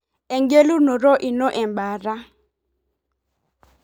Engelunoto ino embataa.